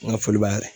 N ka foli b'a la